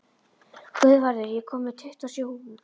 Guðvarður, ég kom með tuttugu og sjö húfur!